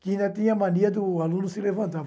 Que ainda tinha mania do aluno se levantar.